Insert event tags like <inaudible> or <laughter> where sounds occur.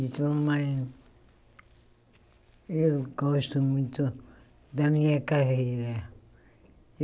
Entrou <unintelligible> eu gosto muito da minha carreira.